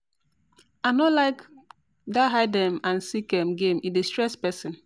I no like that hide um and seek um game, e dey stress person